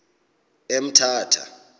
emthatha